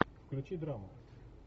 включи драму